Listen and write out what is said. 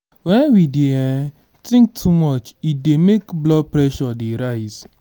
when we dey um think too much e dey make blood pressure dey rise